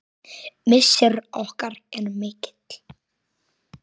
Missir okkar er mikill.